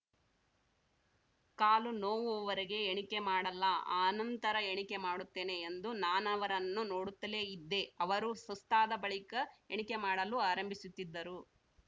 ಕಾಲು ನೋವುವವರೆಗೆ ಎಣಿಕೆ ಮಾಡಲ್ಲ ಅನಂತರ ಎಣಿಕೆ ಮಾಡುತ್ತೇನೆ ಎಂದು ನಾನವರನ್ನು ನೋಡುತ್ತಲೇ ಇದ್ದೆ ಅವರು ಸುಸ್ತಾದ ಬಳಿಕ ಎಣಿಕೆ ಮಾಡಲು ಆರಂಭಿಸುತ್ತಿದ್ದರು